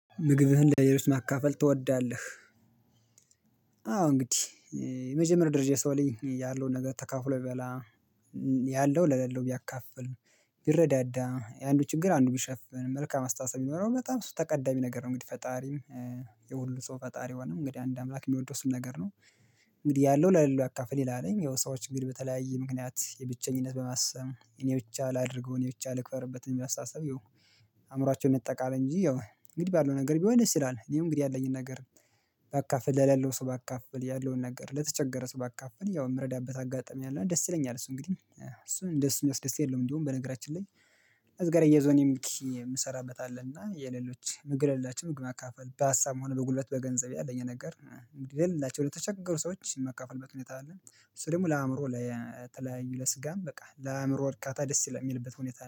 ምግብህን ለሌሎች ማካፈል ትወዳለህ? አዎ እንግዲህ የመጀመሪያ ደረጃ የሰው ልጅ ያለውን ነገር ተካፍሎ የሚበላ ያለው ለሌለው ቢያካፍል ቢረዳዳ የአንዱ ችግር አንዱ ቢሸፍን መልካም አስተሳሰብ የሚኖረው በጣም እሱ ተቀዳሚ ነገር ነው። እንግዲህ ፈጣሪም የሁሉ ሰው ፈጣሪ ሆነ እንግዲህ አንድ አምላክ የሚወድ እሱን ነገር ነው። እንግዲህ ያለው ለሌላው ያካፍል ይላል ነኝ ያው ሰዎች እንግዲህ በተለያየ ምክንያት የብቸኝነት በማሰብ እኔ ብቻ ላድርገው እኔ ብቻ ልከበርበት የሚያስታስብ ያው አእምሮአቸውን ነጠቃለ እንጂ ያው እንግዲህ ባለው ነገር ቢሆን ደስ ይላል። እኔም እንግዲህ ያለኝን ነገር ባካፈልል ለሌለው ሰው ባካፈል ያለውን ነገር ለተቸገረ ሰው ባካፈል ያው የምረዳበት አጋጣሚ አለ ደስ ይለኛል እሱ እንግዲህ እሱን ደስ የሚያስደስት የለም። እንደውም በነገራችን ላይ እዚህ ጋር አያይዞ እኔ እንግዲህ የምሰራበት አለ። እና የሌሎች ምግብ የሌላቸውን ምግብ ማካፈል በሀሳብም ሆነ በጉልበት በገንዘብ ያለኝን ነገር ለሌላቸው ለተቸገሩ ሰዎች ማካፍልበት ሁኔታ አለ። እሱ ደግሞ ለአእምሮ ለ ለተለያዩ ለስጋም በቃ ለአእምሮ እርካታ ደስ ይላል የሚልበት ሁኔታ